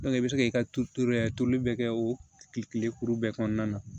i bɛ se k'i ka turuturu yɛrɛ turuli bɛɛ kɛ o kile kelen kuru bɛɛ kɔnɔna na